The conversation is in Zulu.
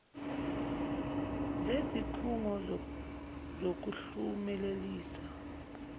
zezik hungo zokuhlumelelisa